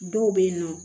Dɔw bɛ yen nɔ